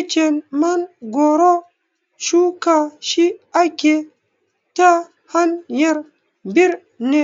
Icen mangoro shuka shi akeyi ta hanyar birne